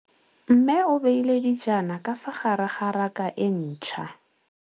Mmê o beile dijana ka fa gare ga raka e ntšha.